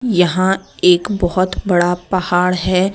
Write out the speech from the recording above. यहां एक बहोत बड़ा पहाड़ है।